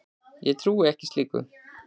Ég trúi ekki slíku.